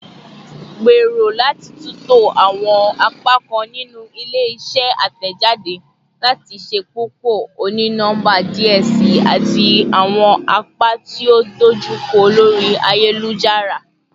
Gbero lati tunto awọn apakan ninu ile-iṣẹ atẹjade lati ṣepọpọ oni-nọmba diẹ sii ati awọn apa ti o dojukọ lori ayelujara